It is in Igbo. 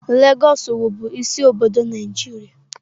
Lagos wụ bụ isi obodo Nigeria.